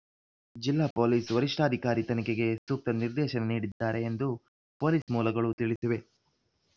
ಜಿಲ್ಲಾ ಪೊಲೀಸ್‌ ವರಿಷ್ಠಾಧಿಕಾರಿ ತನಿಖೆಗೆ ಸೂಕ್ತ ನಿರ್ದೇಶನ ನೀಡಿದ್ದಾರೆ ಎಂದು ಪೊಲೀಸ್‌ ಮೂಲಗಳು ತಿಳಿಸಿವೆ